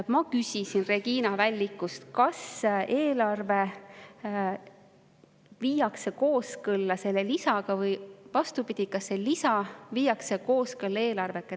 Ma küsisin Regina Vällikult, kas eelarve viiakse kooskõlla selle lisaga, või vastupidi, kas see lisa viiakse kooskõlla eelarvega.